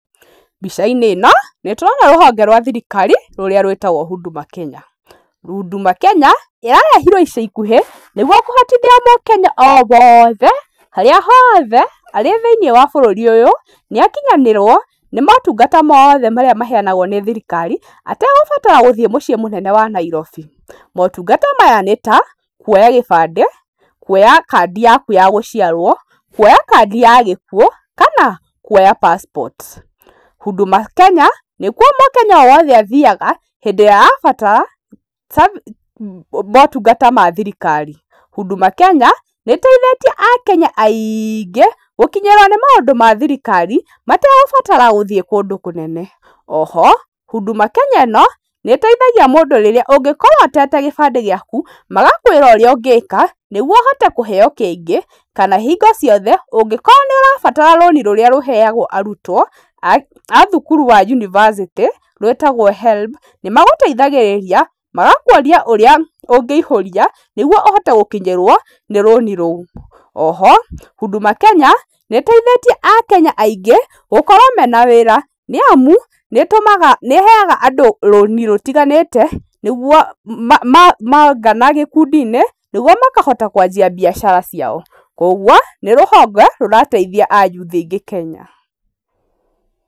Mbica-inĩ ĩno nĩ tũrona rũhonge rwa thirikari, rũrĩa rwĩtagwo Huduma Kenya. Huduma Kenya ĩrarehirwo ica ikuhĩ nĩguo kũhotithia mũKenya o wothe harĩa hothe arĩ thiĩniĩ wa bũrũri ũyũ nĩ akinyanĩrwo nĩ motungata mothe marĩa maheanagwo nĩ thirikari ategũbatara gũthiĩ mũciĩ mũnene wa Nairobi. Motumgata maya nĩ ta, kũoya gĩbandĩ, kuoya kadi yaku ya gũciarwo, kuoya kadi ya gĩkuũ kana kuoya passport. Huduma Kenya nĩkuo mũKenya woothe athiiaga hĩndĩ ĩrĩa arabatara mootungata ma thirikari. Huduma Kenya nĩ ĩteithĩtie aKenya aingĩ gũkinyĩrwo nĩ maũndũ ma thirikari mategũbatara gũthiĩ kũndũ kũnene. Oho Huduma Kenya ĩno nĩĩteithagia mũndũ rĩrĩa ũngĩkorwo ũtete gĩbandĩ gĩaku, magakwĩra ũrĩa ũngĩka nĩguo ũhote kũheo kĩngĩ kana hingo ciothe ũngĩkorwo nĩũrabatara rũni rũrĩa rũheeagwo arutwo a thukuru wa yunibacĩtĩ rwĩtagwo HELB nĩ magũteithagĩrĩrĩria magakuonia ũrĩa ũngĩihũria nĩguo ũhote gũkinyĩrwo nĩ rũni rũu. Oho Huduma Kenya nĩĩteithĩtie aKenya aingĩ gũkorwo mena wĩra nĩamu nĩ ĩheaga andũ rũni rũtiganĩte nĩguo mongana gĩkundi-inĩ nĩguo makahota kwanjia biacara ciao. Koguo nĩ rũhonge rũrateithia ayuthi aingĩ Kenya.